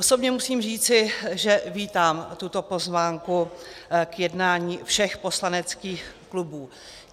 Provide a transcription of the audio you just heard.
Osobně musím říci, že vítám tuto pozvánku k jednání všech poslaneckých klubů.